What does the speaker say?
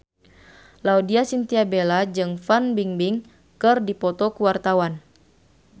Laudya Chintya Bella jeung Fan Bingbing keur dipoto ku wartawan